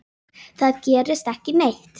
Það gerist ekki neitt.